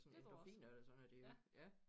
Sådan endorfiner eller sådan noget der ja